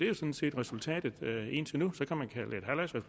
jo sådan set resultatet indtil nu